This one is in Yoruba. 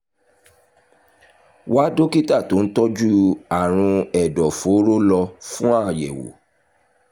wá dókítà tó ń tọ́jú àrùn ẹ̀dọ̀fóró lọ fún àyẹ̀wò